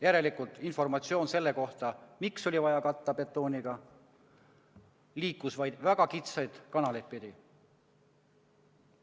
Järelikult informatsioon selle kohta, miks oli vaja katta betooniga, liikus vaid väga kitsaid kanaleid pidi.